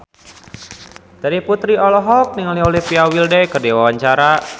Terry Putri olohok ningali Olivia Wilde keur diwawancara